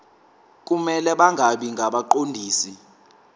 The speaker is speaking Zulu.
kumele bangabi ngabaqondisi